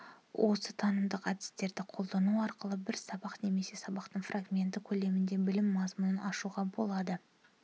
осы танымдық әдістерді қолдану арқылы бір сабақ немесе сабақтың фрагменті көлемінде білім мазмұнынын ашуға болады